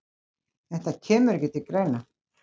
Þetta kemur ekki til greina